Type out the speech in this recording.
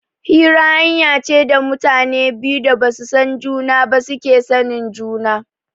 Hira hanya ce da mutanen da ba su san juna ba suke sanin juna.